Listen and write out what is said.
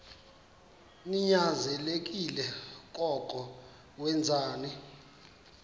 ninyanzelekile koko wenzeni